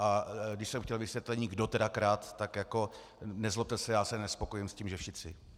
A když jsem chtěl vysvětlení, kdo tedy kradl, tak jako nezlobte se, já se nespokojím s tím, že všichni.